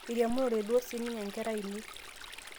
airiamunore duo siniye nkera ainei